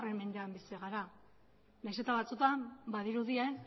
mendean bizi gara naiz eta batzuetan badirudien